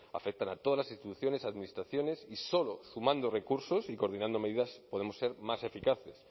afectan a todas las instituciones administraciones y solo sumando recursos y coordinando medidas podemos ser más eficaces